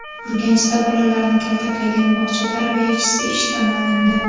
Urganchda bolalarni kaltaklagan bog‘cha tarbiyachisi ishdan olindi.